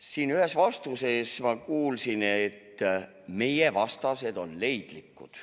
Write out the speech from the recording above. Siin ühes vastuses ma kuulsin, et meie vastased on leidlikud.